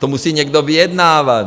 To musí někdo vyjednávat.